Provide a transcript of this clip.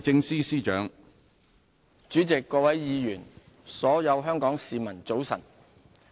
主席、各位議員、所有香港市民，早晨。